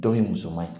Dɔ in musoman ye